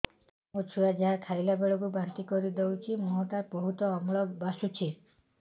ମୋ ଛୁଆ ଯାହା ଖାଇଲା ବେଳକୁ ବାନ୍ତି କରିଦଉଛି ମୁହଁ ଟା ବହୁତ ଅମ୍ଳ ବାସୁଛି